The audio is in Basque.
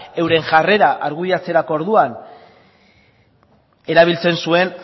euren jarrera argudiatzerako orduan erabiltzen zuen